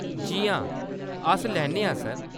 जी हां, अस लैन्ने आं , सर।